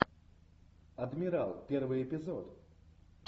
адмирал первый эпизод